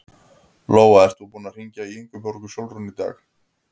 Lóa: Ert þú búinn að hringja í Ingibjörgu Sólrúnu í dag?